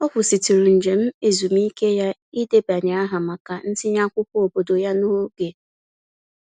Ọ kwụsịtụrụ njem ezumiike ya idenye aha maka ntinye akwụkwọ obodo ya n'oge.